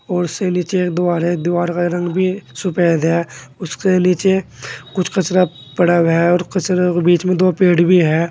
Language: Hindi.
और उसे नीचे एक दीवार है दीवार का रंग भी सफेद है उसके नीचे कुछ कचरा पड़ा हुआ है और कचरे के बीच में दो पेड़ भी है।